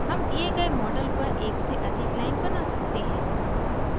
हम दिए गए model पर एक से अधिक line बना सकते हैं